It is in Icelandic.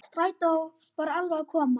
Strætó var alveg að koma.